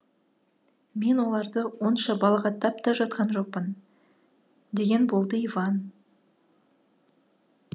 мен оларды онша балағаттап та жатқан жоқпын деген болды иван